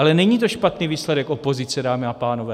Ale není to špatný výsledek opozice, dámy a pánové.